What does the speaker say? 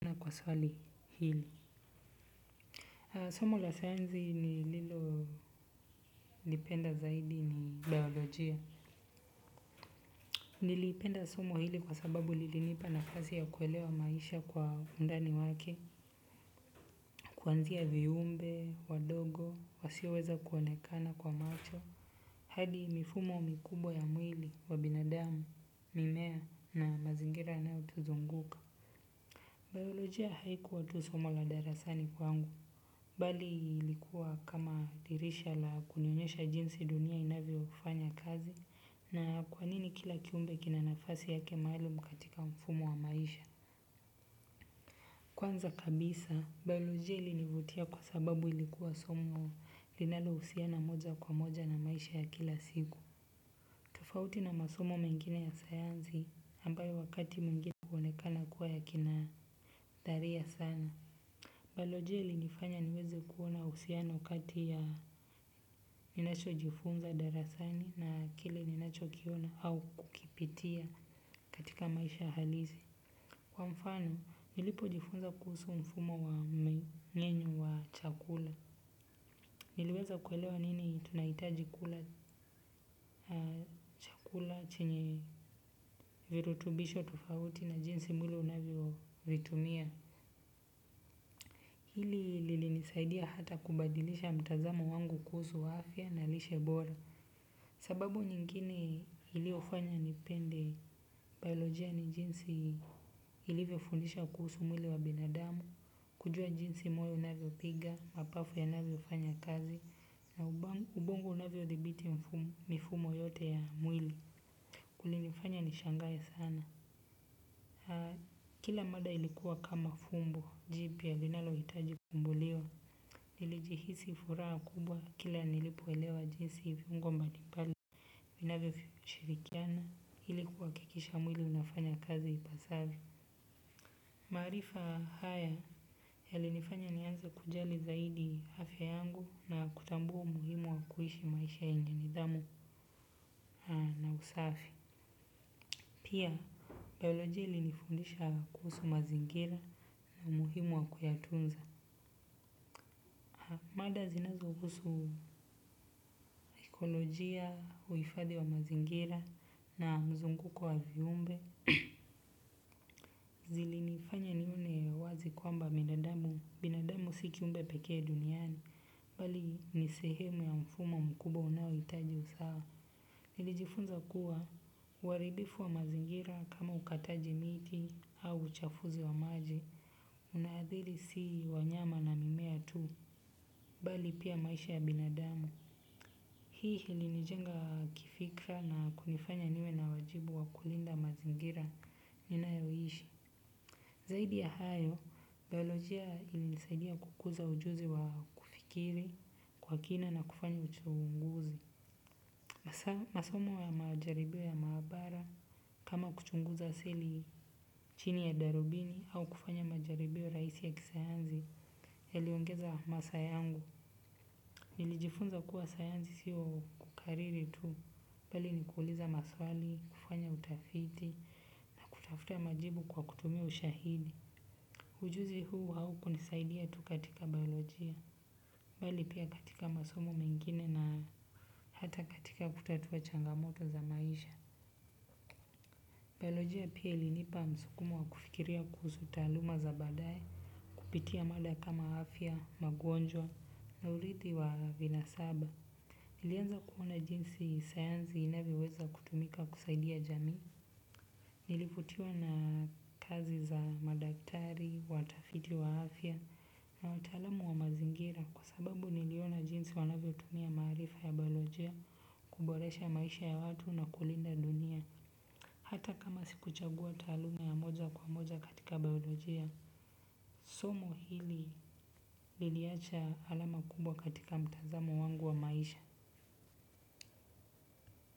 Na kwa swali hili somo la sayansi nililolipenda zaidi ni biolojia. Nilipenda somo hili kwa sababu lili nipa nafasi ya kuelewa maisha kwa undani wake. Kuanzia viumbe, wadogo, wasiweza kuonekana kwa macho hadi mifumo mikubwa ya mwili wa binadamu, mimea na mazingira yanayotuzunguka. Biolojia haikuwa tu somo la darasani kwangu mbali lilikuwa kama dirisha la kunyonyesha jinsi dunia inavyofanya kazi na kwa nini kila kiumbe kina nafasi yake mahali katika mfumo wa maisha. Kwanza kabisa, biolojia ilinivutia kwa sababu ilikuwa somo linalo husiana moja kwa moja na maisha ya kila siku. Tofauti na masomo mengine ya sayansi ambayo wakati mwingine honekana kuwa ya kina dharia sana. Biolojia linifanya niweze kuona uhsiano kati ya ninacho jifunza darasani na kile ninacho kiona au kukipitia katika maisha halisi. Kwa mfano, nilipo jifunza kuhusu mfumo wa mmnyenyo wa chakula niliweza kuelewa nini tunaitaji kula. Kula chenye virutubisho tufauti na jinsi mwili unavyo vitumia. Hili lilinisaidia hata kubadilisha mtazamo wangu kuhusu wa afya na lishe bora. Sababu nyingine iliyofanya nipende biolojia ni jinsi iliviofundisha kuhusu mwili wa binadamu, kujua jinsi moyo unavyopiga, mapafu yanavyofanya kazi, na ubongo unavyithibiti mifumo yote ya mwili. Kile nifanya nishangae sana, kila mada ilikuwa kama fumbu jipya linalohitaji kufumbuliwa. Nilijihisi furaha kubwa kila nilipoewelewa jinsi viungo mabli mbali vinavyo shirikiana ilikuwa kuhakikisha mwili unafanya kazi ipasavyo. Marifa haya yalinifanya nianze kujali zaidi hafya yangu na kutambua umuhimu wa kuhishi maisha yenye nidhamu na usafi pia biolojia ilinifundisha kuhusu mazingira na muhimu wa kuyatunza. Mada zinazuhusu ekolojia, uifadhi wa mazingira na mzunguko wa viumbe, zilinifanya nione wazi kwamba binadamu, binadamu si kiumbe pekee duniani, mbali ni sehemu ya mfumo mkubwa unaohitaji usawa. Nilijifunza kuwa waribifu wa mazingira kama ukataji miti au uchafuzi wa maji unaadhili si wanyama na mimea tu, bali pia maisha ya binadamu. Hii ilinijenga kifikra na kunifanya niwe na wajibu wa kulinda mazingira ninayoishi. Zaidi ya hayo, biolojia ilisaidia kukuza ujuzi wa kufikiri kwa kina na kufanya uchunguzi. Masomo ya majaribio ya maabara kama kuchunguza sili chini ya darubini au kufanya majaribio raisi ya kisayansi ya liongeza masa yangu. Nilijifunza kuwa sayansi siyo kukariri tu. Mbali ni kuuliza maswali, kufanya utafiti, na kutafuta majibu kwa kutumia ushahidi. Ujuzi huu haukunisaidia tu katika biolojia. Mbali pia katika masomo mengine na hata katika kutatua changamoto za maisha. Biolojia pia ilinipa msukumo wa kufikiria kuhusu taaluma za badae, kupitia mada kama afya, magwonjwa, na urithi wa vina saba. Nilianza kuona jinsi sayansi inaweza kutumika kusaidia jamii. Nilifutiwa na kazi za madaktari, watafiti wa afya, na watalamu wa mazingira kwa sababu niliona jinsi wanavyo tumia maarifa ya biolojia, kuboresha maisha ya watu na kulinda dunia. Hata kama sikuchagua taaluma ya moja kwa moja katika biolojia, somo hili liliacha alama kubwa katika mtazamo wangu wa maisha.